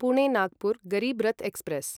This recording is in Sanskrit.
पुणे नागपुर् गरीब् रथ् एक्स्प्रेस्